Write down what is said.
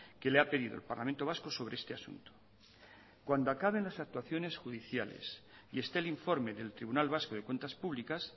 que le ha pedido el parlamento vasco sobre este asunto cuando acaben las actuaciones judiciales y esté el informe del tribunal vasco de cuentas públicas